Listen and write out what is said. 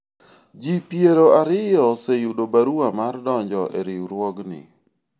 jii piero ariyo oseyudo barua mar donjo e riwruogni